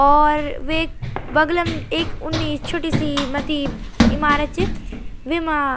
और वेक बगल म एक उन्नी छोटी सी मथ्थी इमारत च वैमा --